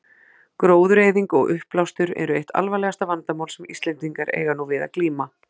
Gróðureyðing og uppblástur eru eitt alvarlegasta vandamál sem Íslendingar eiga nú við að glíma.